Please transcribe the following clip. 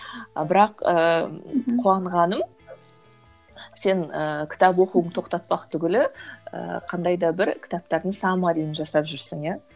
бірақ ыыы қуанғаным сен ыыы кітап оқуыңды тоқтатпақ түгілі ыыы қандай да бір кітаптардың саммариін жасап жүрсің иә